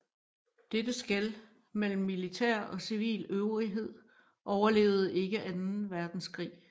Dette skel mellem militær og civil øvrighed overlevede ikke anden verdenskrig